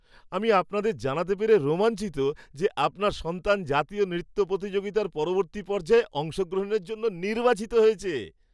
আমি আপনাদের জানাতে পেরে রোমাঞ্চিত যে, আপনার সন্তান জাতীয় নৃত্য প্রতিযোগিতার পরবর্তী পর্যায়ে অংশগ্রহণের জন্য নির্বাচিত হয়েছে।